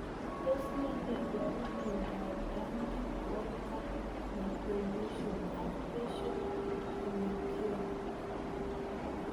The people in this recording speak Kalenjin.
Tos nee neiparu miondop Dandy Walker malformation ak facial hemangioma?